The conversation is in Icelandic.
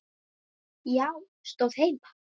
Já, stóð heima!